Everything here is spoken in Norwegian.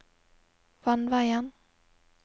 vannveien